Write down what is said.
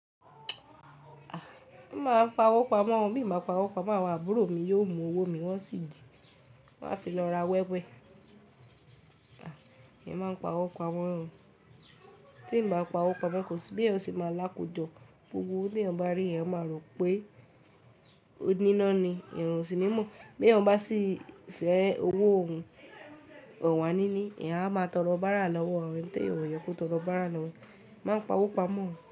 A! Má máa ń pawó pamọ́, bí mo bá pawó pamọ́ àwọn àbúrò mi yóò mú owó mi wọ́n sì jí, wọ́n á fi lọ ra wẹ́wẹ́. A! Èmi máa ń pawó pamọ́, tí mo bá pawó pamọ́ kò sí bí ẹ̀ n ṣe máa lákójọ. Gbogbo owo tí ẹ̀yan bá rí ẹ̀yan máa rò pé oníná ni, ẹ̀ n ò sì ní mọ̀. Bí ẹ̀yan bá sì fẹ́ owó òun, ọ̀wà níní, ẹ̀ a máa tọro bára lọ́wọ́ àwọn ẹni tí ẹ̀yan o wò yẹ kó tọrọ bára lọ́wọ́. Má pawó pamọ́.